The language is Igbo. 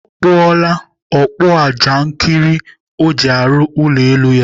Ọ kpụọla ọkpụajankịrị o ji arụ ụlọ elu ya.